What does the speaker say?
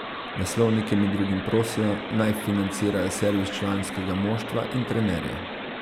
Naslovnike med drugim prosijo, naj financirajo servis članskega moštva in trenerje.